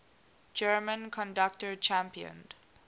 german conductor championed